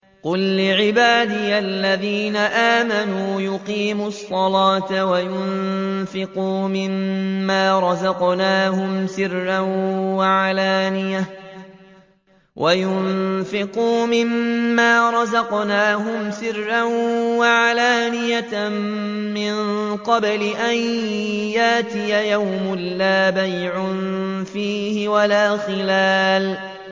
قُل لِّعِبَادِيَ الَّذِينَ آمَنُوا يُقِيمُوا الصَّلَاةَ وَيُنفِقُوا مِمَّا رَزَقْنَاهُمْ سِرًّا وَعَلَانِيَةً مِّن قَبْلِ أَن يَأْتِيَ يَوْمٌ لَّا بَيْعٌ فِيهِ وَلَا خِلَالٌ